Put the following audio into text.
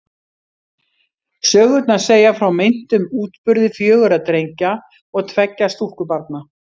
Sögurnar segja frá meintum útburði fjögurra drengja og tveggja stúlkubarna.